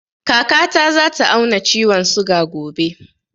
Kaka ta za ta auna ciwon suga gobe